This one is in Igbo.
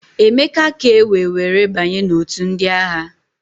Emeka ka ewee were banye n'òtù ndị agha.